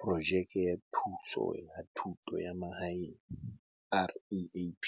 Projeke ya Thuso ya Thuto ya Mahaeng, REAP,